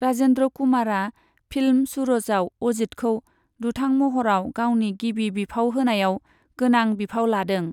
राजेन्द्र कुमारा फिल्म सूरजआव अजितखौ दुथां महराव गावनि गिबि बिफाव होनायाव गोनां बिफाव लादों।